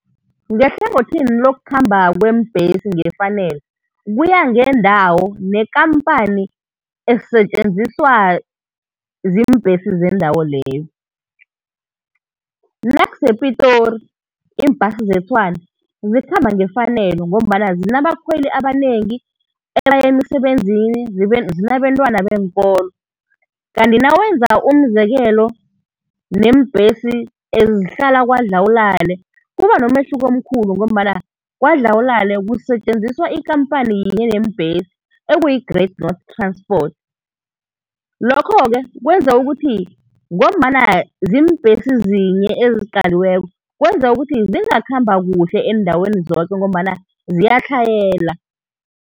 Ngehlangothini lokukhamba kweembhesi ngefanelo, kuya ngendawo nekampani esetjenziswa ziimbhesi zendawo leyo. NakusePitori, iimbhasi zeTshwane, zikhamba ngefanelo ngombana zinabakhweli abanengi ebay' emsebenzini, zinabentwana beenkolo. Kanti nawenza umzekelo neembhesi ezihlala KwaDlawulale, kuba nomehluko omkhulu ngombana Kwadlawulale kusetjenziswa ikampani yinye yeembhesi, ekuyi-Great North Transport. Lokho-ke kwenza ukuthi, ngombana ziimbhesi zinye eziqaliweko, kwenza ukuthi zingakhamba kuhle eendaweni zoke ngombana ziyatlhayela.